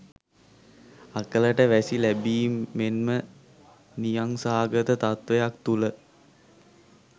අකලට වැසි ලැබීම් මෙන්ම නියංසාගත තත්ත්වයක් තුළ